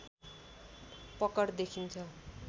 पकड देखिन्छ